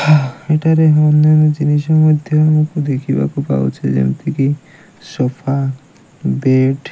ଏଠାରେ ହୋମମେଡ଼ ଜିନିଷ ମଧ୍ୟ ଦେଖିବାକୁ ପାଉଛେ ଯେମିତି କି ସୋଫା ବେଡ଼ ।